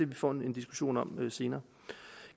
vi får en diskussion om det senere